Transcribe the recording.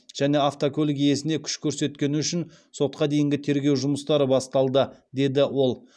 және автокөлік иесіне күш көрсеткені үшін сотқа дейінгі тергеу жұмыстары басталды деді ол